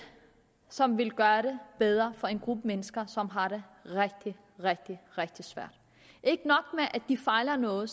som vil gøre det bedre for en gruppe mennesker som har det rigtig rigtig rigtig svært ikke nok med at de fejler noget